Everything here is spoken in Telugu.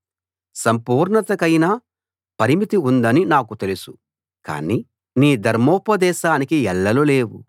సంపూర్ణతకైనా పరిమితి ఉందని నాకు తెలుసు కానీ నీ ధర్మోపదేశానికి ఎల్లలు లేవు